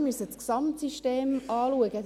Denn wir müssen das Gesamtsystem betrachten.